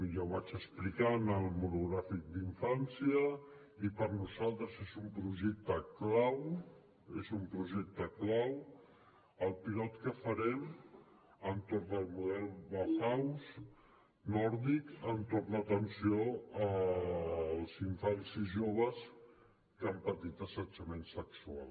ja ho vaig explicar en el monogràfic d’infància i per nosaltres és un projecte clau és un projecte clau el pilot que farem entorn del model barnahus nòrdic entorn l’atenció als infants i joves que han patit assetjament sexual